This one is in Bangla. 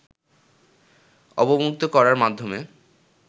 অবমুক্ত করার মাধ্যমে